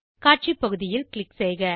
காட்சி பகுதியில் க்ளிக் செய்க